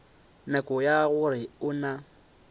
nako ye gore o na